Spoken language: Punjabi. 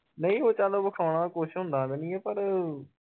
ਨਹੀਂ ਚੱਲ ਉਹ ਵਖਾਉਣਾ ਕੁਛ ਹੁੰਦਾ ਤਾ ਨਹੀਂ ਆ ਪਰ